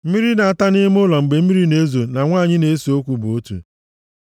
Mmiri na-ata nʼime ụlọ mgbe mmiri na-ezo na nwanyị na-eso okwu bụ otu.